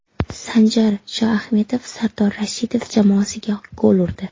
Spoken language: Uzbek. Sanjar Shoahmedov Sardor Rashidov jamoasiga gol urdi.